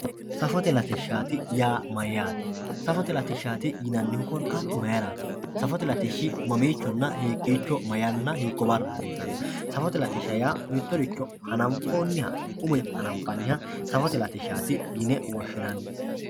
Safote latishati yaa mayaate safote latishati yinanihu korkatu mayirat safote latishi mamicho hiikichona hiiko bara hasiisani safote latisha yaa mitoricho hanafomiha safote latishat yine woshinani